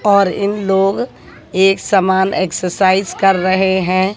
और इन लोग एक समान एक्सरसाइज कर रहे हैं।